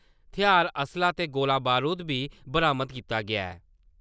थेहार असलाह् ते गोला-बारूद बी बरामद कीता गेआ ऐ।